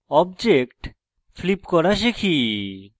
object flip করা শিখি